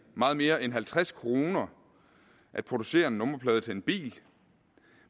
meget mere end halvtreds kroner at producere en nummerplade til en bil